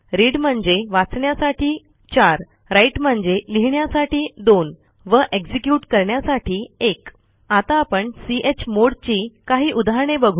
read म्हणजे वाचण्यासाठी 4 write म्हणजे लिहिण्यासाठी 2 व एक्झिक्युट करण्यासाठी 1 आता आपण चमोड ची काही उदाहरणे बघू